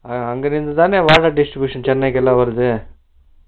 அஹ அங்குருந்து தானா valve distribution Noise சென்னைக்கு எல்லா வருது ?